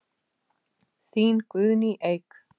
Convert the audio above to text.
Þín Guðný Eik.